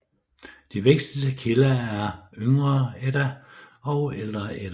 De vigtigste kilder er Yngre Edda og Ældre Edda